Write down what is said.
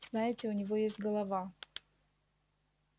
знаете у него есть голова